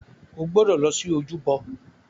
O gbọdọ̀ lọ sí ojúbọ.